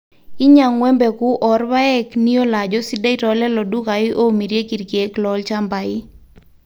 inyang'u empegu oorpaek niyiolo ajo sidai toolelo dukai oomirieki irkeek loolchambai